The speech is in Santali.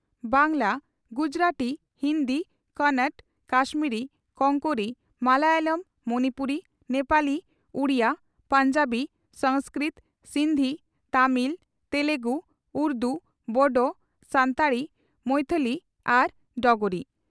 ᱵᱟᱝᱞᱟ ,ᱜᱩᱡᱨᱟᱴᱤ, ᱦᱤᱱᱫᱤ ᱠᱚᱱᱚᱴ, ᱠᱟᱥᱢᱤᱨᱤ ,ᱠᱚᱝᱠᱚᱨᱤ, ᱢᱟᱞᱚᱭᱟᱞᱚᱢ ,ᱢᱚᱱᱤᱯᱩᱨᱤ, ᱱᱮᱯᱟᱞᱤ ,ᱩᱰᱤᱭᱟ, ᱯᱟᱝᱡᱟᱵᱤ ,ᱥᱚᱝᱥᱠᱨᱤᱴ, ᱥᱤᱱᱫᱷᱤ, ᱛᱟᱢᱤᱞ ,ᱛᱮᱞᱮᱜᱩ ,ᱩᱨᱫᱩ, ᱰᱚᱚ, ᱥᱟᱱᱛᱟᱲᱤ, ᱢᱚᱭᱛᱷᱚᱞᱤ ᱟᱨ ᱰᱚᱜᱽᱨᱤ ᱾